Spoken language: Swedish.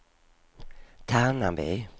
Tärnaby